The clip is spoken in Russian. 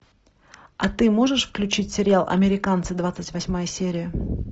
а ты можешь включить сериал американцы двадцать восьмая серия